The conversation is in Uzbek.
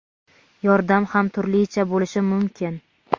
Yordam ham turlicha bo‘lishi mumkin.